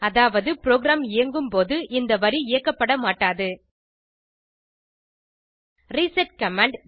அதாவது ப்ரோகிராம் இயங்கும்போது இந்த வரி இயக்கப்பட மாட்டாது ரிசெட் கமாண்ட்